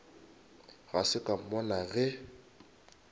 ga se ka mmona ge